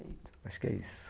Acho que é isso.